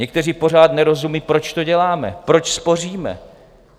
Někteří pořád nerozumějí, proč to děláme, proč spoříme.